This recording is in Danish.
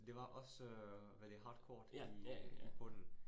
Det var også hvad det hardcourt i i bunden